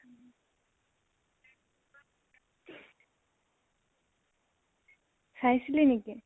চাইছিলি নেকি?